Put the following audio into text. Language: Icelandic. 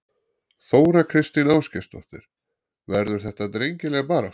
Þóra Kristín Ásgeirsdóttir: Verður þetta drengileg barátta?